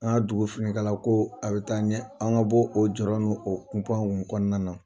An ka dugu finikalako a bɛ taa ɲɛ an ka bɔ o jɔyɔ n'o kunpaw kɔnɔna na